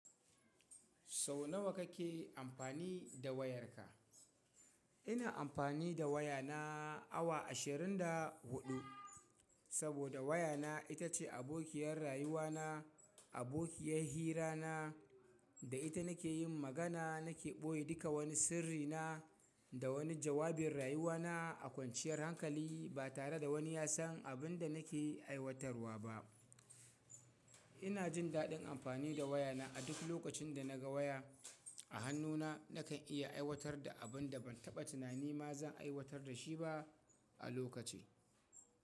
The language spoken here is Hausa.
Sau nawa kake amfani da wayarka? Ina amfani da wayana awa ashirin da huɗu, saboda wayana ita ce abokiyar rayuwana, abokiyar hirana, da ita nake yin magana, nake ɓoye duka wani sirrina da wani jawabin rayuwana a kwanciyar hankali ba tare da wani ya san abin da nake aiwatarwa ba. Ina jin daɗin amfani da wayana a duk lokacin da naga waya a hannuna nakan iya aiwatar da abin da ban taɓa tunani ma zan aiwatar da shi ba a lokacin.